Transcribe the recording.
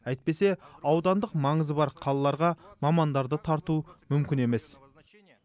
әйтпесе аудандық маңызы бар қалаларға мамандарды тарту мүмкін емес